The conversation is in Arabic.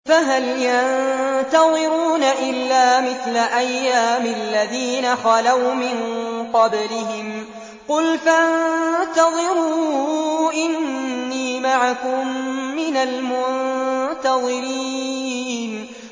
فَهَلْ يَنتَظِرُونَ إِلَّا مِثْلَ أَيَّامِ الَّذِينَ خَلَوْا مِن قَبْلِهِمْ ۚ قُلْ فَانتَظِرُوا إِنِّي مَعَكُم مِّنَ الْمُنتَظِرِينَ